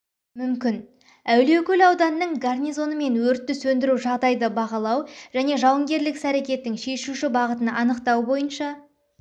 мүмкін әулиекөл ауданының гарнизонымен өртті сөндіру жағдайды бағалау және жауынгерлік іс-әрекеттің шешуші бағытын анықтау бойынша